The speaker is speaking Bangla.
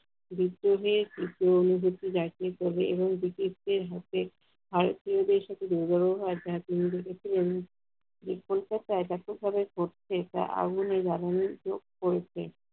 ভেতরে তীব্র অনুভূতি জাগিয়ে তোলে এবং ব্রিটিশদের হাতে ভারতীয়দের সাথে দুর্ব্যবহার জাতিসংঘের প্রত্যেকটা